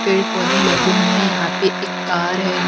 पेड़ पौधे लगे हुए हैं यहां पे एक कार है यहां पे।